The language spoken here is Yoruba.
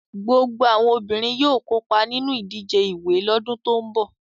Gbogbo àwọn obìnrin yóò kópa nínú ìdíje ìwẹ̀ lọ́dún tó ń bọ̀.